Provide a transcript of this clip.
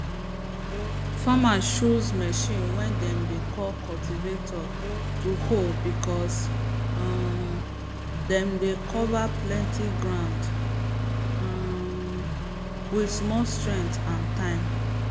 farmers choose machine way dem dey call cultivator to hoe because um dem dey cover plenty ground um with small strength and time